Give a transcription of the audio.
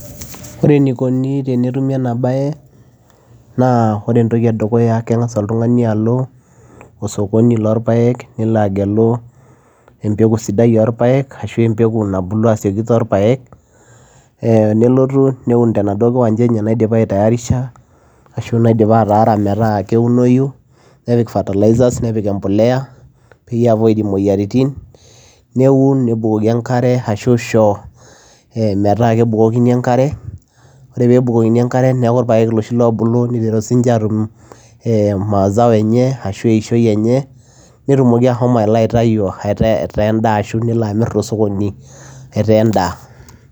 ore enikoni tenetumi ena baye naa ore entoki edukuya keng'as oltung'ani alo osokoni lorpayek nelo agelu empeku sidai orpayek ashu empeku nabulu asioki torpayek eh nelotu neun tenaduo kiwanja enye naidipa aitayarisha ashu naidipia ataara metaa keunoyu nepik fertilizers nepik empoleya peyie ei avoid imoyiaritin neun nebukoki enkare ashu isho eh metaa kebukokini enkare ore pebukokini enkare neku irpayek iloshi lobulu niteru sininche atum eh mazao enye ashu eishoi enye netumoki ahomo alo aitayu etaa endaa ashu nelo amirr tosokoni etaa endaa.